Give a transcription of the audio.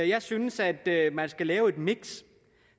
jeg synes at man skal lave et miks